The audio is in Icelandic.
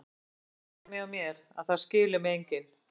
Það er svona heima hjá mér, að það skilur mig enginn.